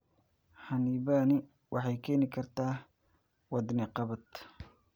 Xannibaani waxay keeni kartaa wadne qabad.